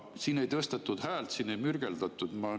Siin ei tõstetud häält, siin ei mürgeldatud.